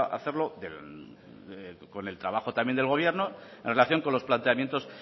hacerlo con el trabajo también del gobierno en relación con los planteamientos